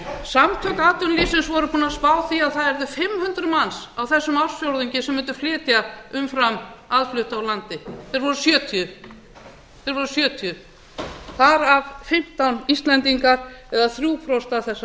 samtök atvinnulífsins voru búin að spá því að það yrðu fimm hundruð manns á þessum ársfjórðungi sem mundu flytja umfram aðflutta úr landi þeir voru sjötíu þeir voru sjötíu þar af fimmtán íslendingar eða þrjú prósent